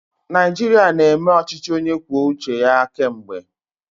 Naijiria na-eme ọchịchị onye kwuo uche ya kemgbe.